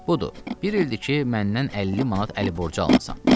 Budur, bir ildir ki, məndən 50 manat əli borcu almısan.